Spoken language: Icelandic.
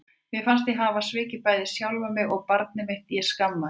Mér fannst ég hafa svikið bæði sjálfa mig og barnið mitt og ég skammaðist mín.